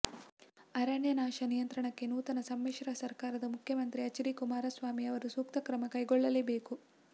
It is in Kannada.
ಅರಣ್ಯ ನಾಶ ನಿಯಂತ್ರಣಕ್ಕೆ ನೂತನ ಸಮ್ಮಿಶ್ರ ಸರ್ಕಾರದ ಮುಖ್ಯಮಂತ್ರಿ ಎಚ್ಡಿ ಕುಮಾರಸ್ವಾಮಿ ಅವರು ಸೂಕ್ತ ಕ್ರಮ ಕೈಗೊಳ್ಳಲೇಬೇಕು